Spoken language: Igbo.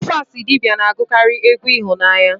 Tufasi idibia na-agụkarị egwu ịhụnanya